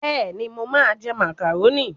Bẹ́ẹ̀ni, mo máa ń jẹ màkàrónì.